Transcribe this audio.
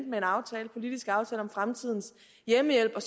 politisk aftale om fremtidens hjemmehjælp